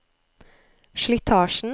slitasjen